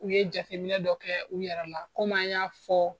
U ye jateminɛ dɔ kɛ u yɛrɛ la kɔmi an y'a fɔ